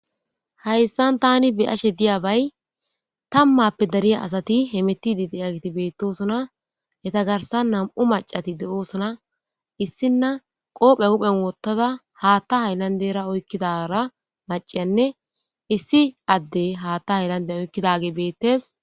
hayssan tani biyashe diyabay tammappe dariya asati hemetidi diyagti beettosona heta garsan nam7u macati de7oosona issinna qoophe huphen wottada haatta hayllandera oykkidara maciyanne issi addey haatta hayllande oykkidage beettes